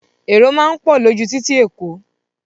Èrò máa ń pọ̀ lójú títì Èkó